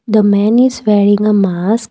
the man is wearing a mask.